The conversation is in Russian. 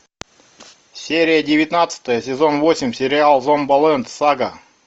серия девятнадцатая сезон восемь сериал зомбиленд сага